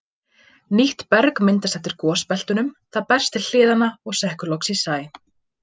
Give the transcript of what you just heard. Nýtt berg myndast eftir gosbeltunum, það berst til hliðanna og sekkur loks í sæ.